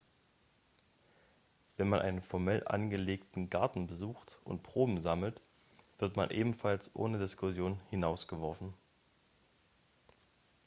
wenn man einen formell angelegten garten besucht und proben sammelt wird man ebenfalls ohne diskussion hinausgeworfen